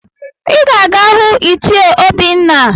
Ị ga-aga hụ ichie Obinna!